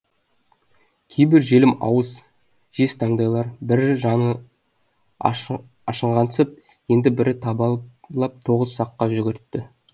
кейбір желім ауыз жез таңдайлар бірі жаны ашығансып енді бірі табалап тоғыз саққа жүгіртті